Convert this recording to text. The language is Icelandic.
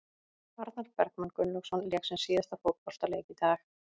Arnar Bergmann Gunnlaugsson lék sinn síðasta fótboltaleik í dag.